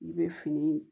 I bɛ fini